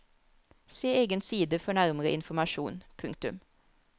Se egen side for nærmere informasjon. punktum